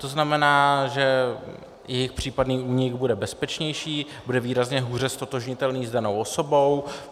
To znamená, že jejich případný únik bude bezpečnější, bude výrazně hůře ztotožnitelný s danou osobou.